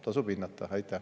Tasub seda hinnata!